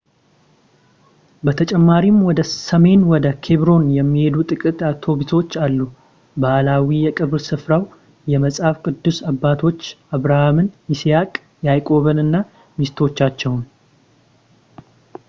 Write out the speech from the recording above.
በተጨማሪም ወደ ሰሜን ወደ ኬብሮን የሚሄዱ ጥቂት አውቶቡሶች አሉ ባህላዊ የቀብር ስፍራው የመጽሐፍ ቅዱስ አባቶች አብርሃምን ይስሐቅ ያዕቆብንና ሚስቶቻቸውን